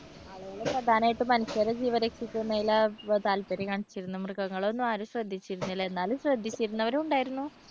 ആളുകള് പ്രധാനമായിട്ടും മനുഷ്യരുടെ ജീവൻ രക്ഷിക്കുന്നതിലാ താല്പര്യം കാണിച്ചിരുന്നത് മൃഗങ്ങളെ ഒന്നും ആരും ശ്രദ്ധിച്ചിട്ടുണ്ടായിരുന്നില്ല എന്നാലും ശ്രദ്ധിച്ചിരുന്നവരും ഉണ്ടായിരുന്നു.